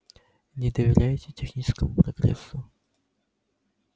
не доверяете техническому прогрессу